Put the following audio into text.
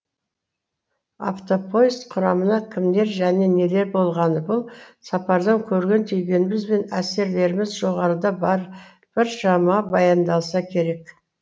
автопоезд құрамына кімдер және нелер болғаны бұл сапардан көрген түйгеніміз бен әсерлеріміз жоғарыда біршама баяндалса керек